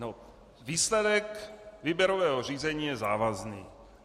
No, výsledek výběrového řízení je závazný.